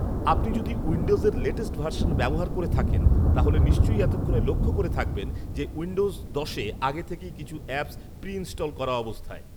আপনি যদি উইন্ডোজের লেটেস্ট ভার্সন ব্যবহার করে থাকেন তাহলে নিশ্চয় এতক্ষণে লক্ষ করে থাকবেন যে উইন্ডোজ দশে আগে থেকেই কিছু অ্যাপস প্রি ইন্সটল করা অবস্থায়